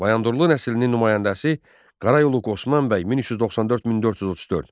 Bayandurlu nəslinin nümayəndəsi Qarayolu Osmanbəy 1394-1434.